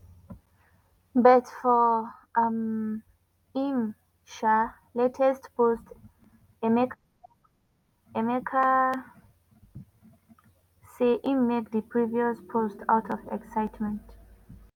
but for um im um latest post emeka tok emeka tok say im make di previous post out of excitement